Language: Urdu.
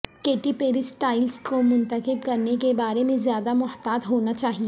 کیٹی پیری سٹائلسٹ کو منتخب کرنے کے بارے میں زیادہ محتاط ہونا چاہئے